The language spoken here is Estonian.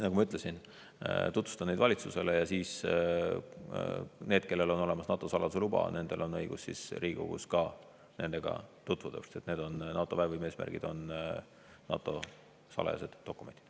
Nagu ma ütlesin, tutvustan neid valitsusele ja siis on nendel, kellel on olemas NATO saladuse luba, õigus Riigikogus ka nendega tutvuda, sest NATO väevõime eesmärgid on NATO salajased dokumendid.